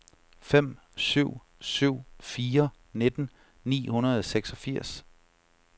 fem syv syv fire nitten ni hundrede og seksogfirs